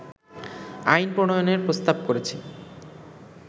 আইন প্রণয়নের প্রস্তাব করেছে